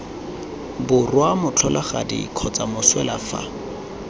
borwa motlholagadi kgotsa moswelwa fa